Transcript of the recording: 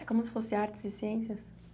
É como se fosse artes e ciências?